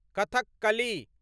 Kathakali